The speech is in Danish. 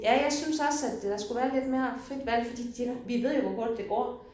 Ja jeg synes også at øh der skulle være lidt mere frit valg fordi det nu vi ved jo hvor hurtigt det går